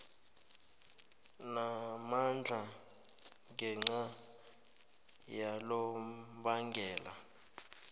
namandla ngenca yalonobangela